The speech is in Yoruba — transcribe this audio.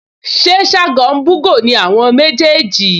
Ṣé Ṣágo ń bú'gò ni àwọn méjèèjì?